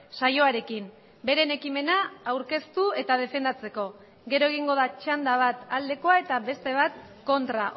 saioarekin beren ekimena aurkeztu eta defendatzeko gero egingo da txanda bat aldekoa eta beste bat kontra